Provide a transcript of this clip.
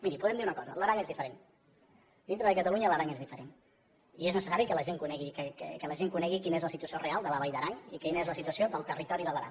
miri podem dir una cosa l’aran és diferent dintre de catalunya l’aran és diferent i és necessari que la gent conegui quina és la situació real de la vall d’aran i quina és la situació del territori de l’aran